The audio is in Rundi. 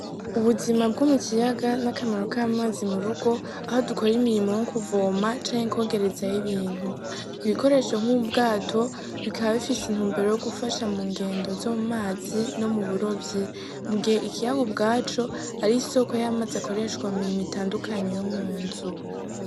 Ubuzima bwo mu kiyaga n'akamaro k'amazi mu rugo, aho dukora imirimo yo kuvoma canke kwogerezayo ibintu. Ibikoresho nk'ubwato bikaba bifise intumbero yo gufasha mu ngendo zo mu mazi no mu burovyi mu gihe ikiyaga ubwaco ari isoko y'amazi ikoreshwa mu mirimo itandukanye yo mu nzu.